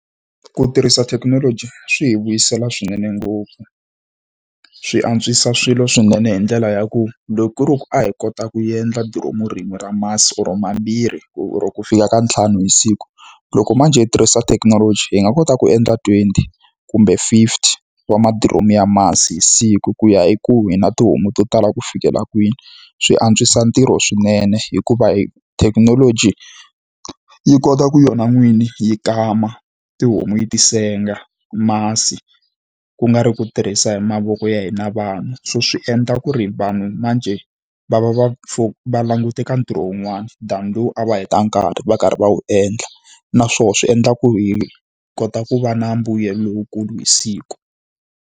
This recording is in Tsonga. Ku tirhisa thekinoloji swi hi vuyisela swinene ngopfu. Swi antswisa swilo swinene hi ndlela ya ku loko ku ri ku a hi kota ku endla diromu rin'we ra masi or mambirhi or-o ku fika ka ntlhanu hi siku, loko manjhe hi tirhisa thekinoloji hi nga kota ku endla twenty kumbe fifty wa madiromu ya masi hi siku. Ku ya hi ku hi na tihomu to tala ku fikela kwini. Swi antswisa ntirho swinene hikuva thekinoloji yi kota ku yona n'wini yi kama tihomu yi ti senga masi, ku nga ri ku tirhisa hi mavoko ya hina vanhu. So swi endla ku ri vanhu manjhe va va va va langute ka ntirho wun'wana than lowu a va heta nkarhi va karhi va wu endla. Naswona swi endla ku hi kota ku va na mbuyelo lowukulu hi siku.